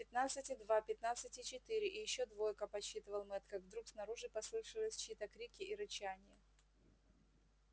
пятнадцать и два пятнадцать и четыре и ещё двойка подсчитывал мэтт как вдруг снаружи послышались чьи то крики и рычание